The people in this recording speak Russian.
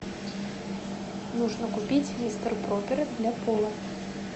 нужно купить мистер пропер для пола